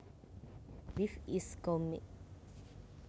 Beef is cow meat